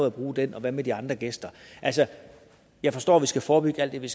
at bruge den og hvad med de andre gæster jeg forstår vi skal forebygge alt det vi